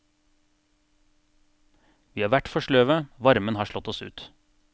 Vi har vært for sløve, varmen har slått oss ut.